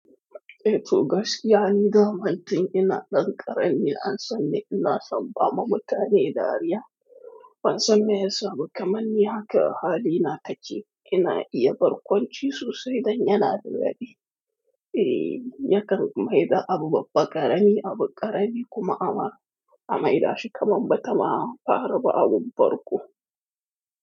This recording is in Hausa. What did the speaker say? Eh to gaskiya ni zamantin ina ɗan ƙarami an sani ina son ba ma mutane dariya. An san me ya samu kamar ni haka hali na take, ina iya barkwanci sosai dan yana da daɗi. Eh yakan maida abu babba ƙarami abu ƙarami kuma ama a maida shi kamar bata ma an fara ba abun farko.